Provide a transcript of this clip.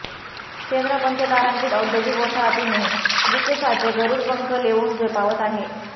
शेंद्रा पंचतारांकीत औद्योगिक वसाहतीने विकसाचे गरुड पंख लेवून झेपावत आहे